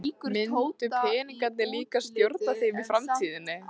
Myndu peningarnir líka stjórna þeim í framtíðinni?